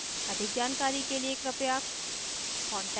अधिक जानकारी कर लिए कृपया